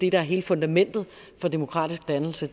er hele fundamentet for demokratisk dannelse